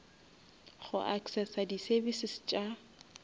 go accessa di services tša